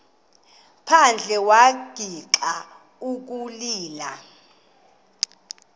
phandle wagixa ukulila